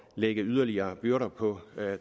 lægge yderligere byrder på